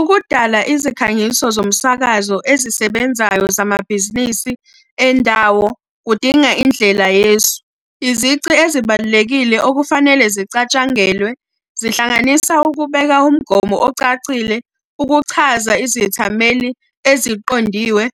Ukudala izikhangiso zomsakazo ezisebenzayo zamabhizinisi endawo, kudinga indlela yesu. Izici ezibalulekile okufanele zicatshangelwe, zihlanganisa ukubeka umgomo ocacile, ukuchaza izethameli eziqondiwe,